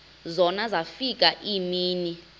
zona zafika iimini